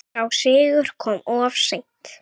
Sá sigur kom of seint.